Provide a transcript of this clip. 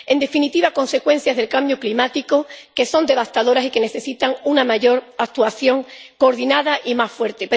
En definitiva, consecuencias del cambio climático que son devastadoras y que necesitan una mayor actuación coordinada y más fuerte.